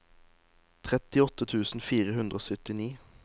trettiåtte tusen fire hundre og syttini